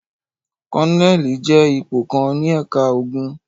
Kólónẹ́ẹ́lì jẹ́ ipò kan ní ẹ̀ka ogun.